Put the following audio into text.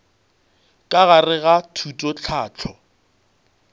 ka gare ga thuto tlhahlo